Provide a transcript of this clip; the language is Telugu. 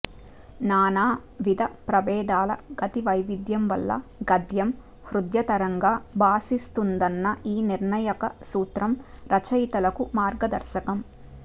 నానావిధప్రభేదాల గతివైవిధ్యం వల్ల గద్యం హృద్యతరంగా భాసిస్తుందన్న ఈ నిర్ణాయకసూత్రం రచయితలకు మార్గదర్శకం